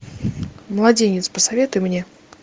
младенец посоветуй мне